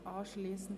Mittwoch (Abend)